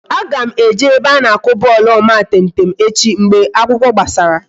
Aga m eje ebe a na-akụ bọọlụ omatemtem echi mgbe akwụkwọ gbasara